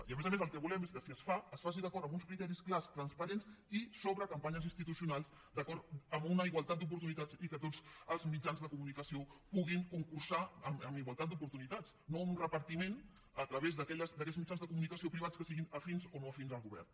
i a més a més el que volem és que si es fa es faci d’acord amb uns criteris clars transparents i sobre campanyes institucionals amb una igualtat d’oportunitats i que tots els mitjans de comunicació puguin concursar amb igualtat d’oportunitats no amb un repartiment a través d’aquells mitjans de comunicació privats que siguin afins o no afins al govern